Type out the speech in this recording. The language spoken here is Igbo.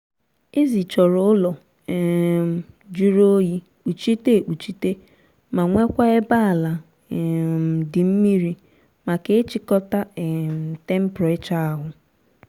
ezi chọrọ ụlọ um jụrụ oyi kpuchite ekpuchite ma nwekwaa ebe ala um dị mmiri maka ịchịkọta um temperachọ ahu